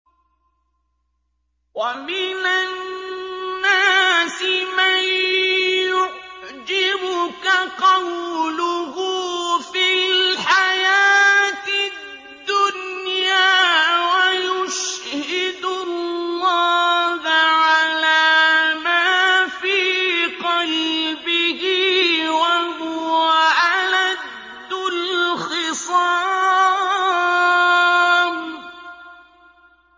وَمِنَ النَّاسِ مَن يُعْجِبُكَ قَوْلُهُ فِي الْحَيَاةِ الدُّنْيَا وَيُشْهِدُ اللَّهَ عَلَىٰ مَا فِي قَلْبِهِ وَهُوَ أَلَدُّ الْخِصَامِ